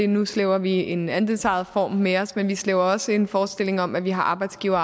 nu slæber vi en andelsejet form med os men vi slæber også på en forestilling om at vi har arbejdsgiver